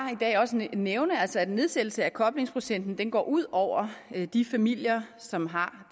nævne at nedsættelsen af koblingsprocenten går ud over de familier som har